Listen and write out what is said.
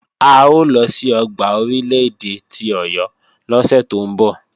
A ó lọ sí ọgbà Orílè-èdè ti Ọ̀yọ́ lọ́sẹ̀ tó ń bọ̀.